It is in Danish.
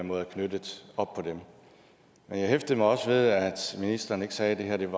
måde er knyttet op på dem jeg hæftede mig også ved at ministeren ikke sagde at det